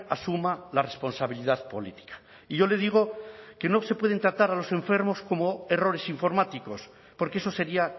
asuma la responsabilidad política y yo le digo que no se pueden tratar a los enfermos como errores informáticos porque eso sería